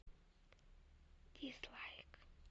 дизлайк